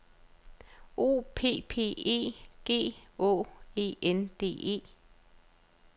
O P P E G Å E N D E